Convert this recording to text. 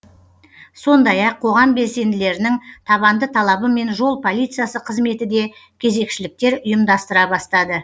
сондай ақ қоғам белсенділерінің табанды талабымен жол полициясы қызметі де кезекшіліктер ұйымдастыра бастады